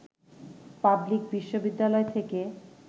public বিশ্ববিদ্যালয় থেকে